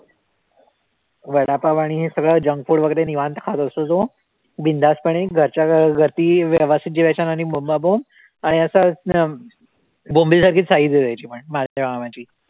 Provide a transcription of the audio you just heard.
वडापाव आणि हे सगळं junk food वैगरे निवांत खातो असतो. तो बिनधास्तपणे घरच्या घ अं रती व्यवस्थित जेवायचा आणि आणि असा अं बोंबिलसारखी size आहे, त्याची पण बारक्या मामाची